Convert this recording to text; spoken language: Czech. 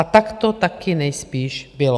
A tak to taky nejspíš bylo.